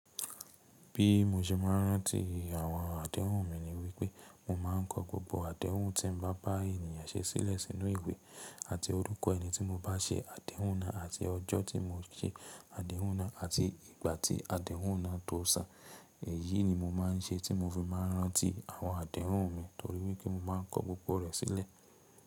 Bí mo ṣe máa ń rántí àwọn àdéhùn mi ni wípé mo máa ń kọ gbogbo àdéhùn tí n bá bá ènìyàn ṣe sílẹ̀ sínú ìwé àti orúkọ ẹni tí mo bá ṣe àdéhùn náà àti ọjọ́ tí mo ṣe àdéhùn náà àti ìgbà tí àdéhùn náà tó ṣàn. Èyí ni mo máa ń ṣe tí mo fi máa ń rántí àwọn àdéhùn mi torí wípé mo máa ń kọ gbogbo rẹ̀ sílẹ̀.